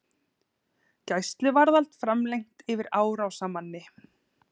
Gæsluvarðhald framlengt yfir árásarmanni